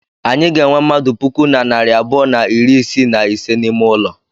Anyị ga-enwe mmadụ puku na narị abụọ na iri isii na ise n'ime ụlọ.